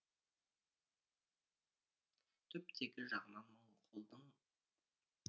түптегі жағынан моңғолдың